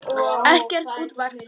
Ekkert útvarp.